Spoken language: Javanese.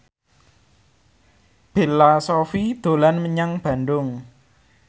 Bella Shofie dolan menyang Bandung